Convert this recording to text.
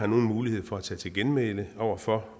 nogen mulighed for at tage til genmæle over for